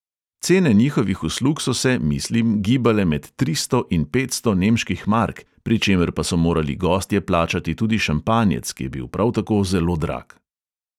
Cene njihovih uslug so se, mislim, gibale med tristo in petsto nemških mark, pri čemer pa so morali gostje plačati tudi šampanjec, ki je bil prav tako zelo drag.